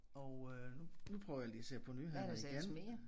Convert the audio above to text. Og øh nu nu prøver jeg lige at se på nyhederne igen